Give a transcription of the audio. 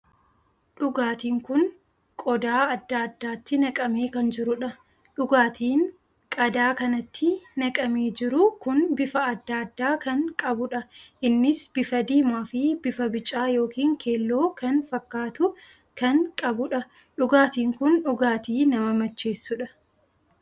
Dhugaatiin kun qodaa addaa addaatti naqamee kan jiruudha. dhugaatiin qadaa kanatti naqamee jiru kun bifa addaa addaa kan qabuudha. innis bifa diimaa fi bifa bicaa ykn keelloo kan fakkaatu kan qabuudha. dhugaatiin kun dhugaatii nama machessuudha.